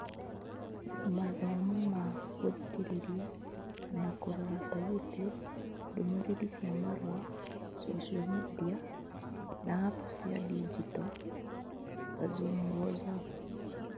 Mathomo ma gũthikĩrĩria na kũrora (ta YouTube), ndũmĩrĩri cia marũa / social media / apps cia digito (ta Zoom, WhatsApp).